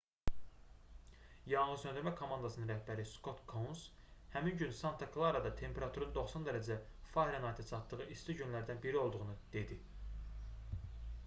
yanğınsöndürmə komandasının rəhbəri skot kouns həmin gün santa klarada temperaturun 90 dərəcə farenheytə çatdığı isti günlərdən biri olduğunu dedi